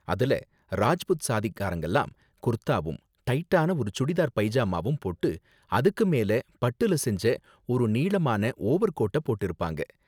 அதுல ராஜ்புத் சாதிக்காரங்கலாம் குர்தாவும், டைட்டான ஒரு சுடிதார் பைஜாமாவும் போட்டு, அதுக்கு மேல பட்டுல செஞ்ச ஒரு நீளமான ஓவர்கோட்ட போட்டிருப்பாங்க